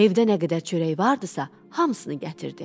Evdə nə qədər çörək vardısa, hamısını gətirdi.